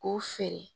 K'o feere